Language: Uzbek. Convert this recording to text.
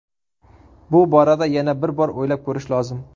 Bu borada yana bir bor o‘ylab ko‘rish lozim.